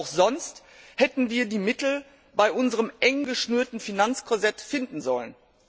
Wie auch sonst hätten wir die Mittel bei unserem eng geschnürten Finanzkorsett finden sollen?